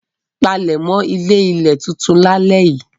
Palẹ̀mọ́ ilé-ilẹ̀ tuntun lálẹ́ yìí!